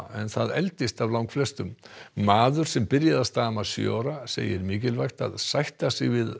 en það eldist af langflestum maður sem byrjaði að stama sjö ára segir mikilvægt að sætta sig við